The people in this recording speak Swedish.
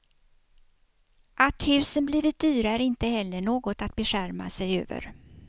Att husen blivit dyra är inte heller något att beskärma sig över.